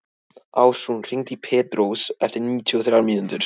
Ásrún, hringdu í Pétrós eftir níutíu og þrjár mínútur.